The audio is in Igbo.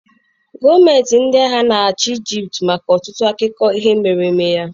Gọọmenti ndị agha na-achị Egypt maka ọtụtụ akụkọ ihe mere eme ya.